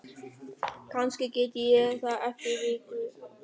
Kannski get ég það eftir viku.